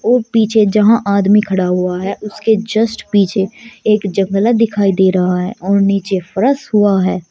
वो पीछे जहां आदमी खड़ा हुआ है उसके जस्ट पीछे एक जंगला दिखाई दे रहा है और नीचे फर्श हुआ है।